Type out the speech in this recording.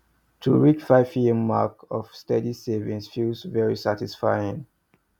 to reach five year mark of steady savings feel very satisfying